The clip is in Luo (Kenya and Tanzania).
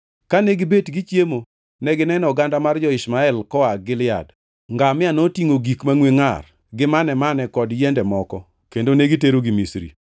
Kane gibet gichiemo negineno oganda mar jo-Ishmael koa Gilead. Ngamia notingʼo gik mangʼwe ngʼar, gi mane-mane kod yiende moko, kendo negiterogi Misri.